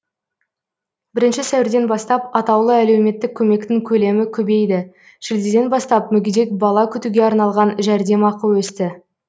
бірінші сәуірден бастап атаулы әлеуметтік көмектің көлемі көбейді шілдеден бастап мүгедек бала күтуге арналған жәрдемақы өсті